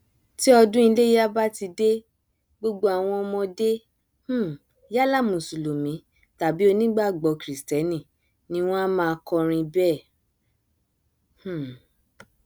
tí ọdún iléya bá ti dé gbogbo àwọn ọmọdé um yálà mùsùlùmí tàbí onígbàgbọ kìrìstẹnì ni wọn a máa kọrin bẹẹ um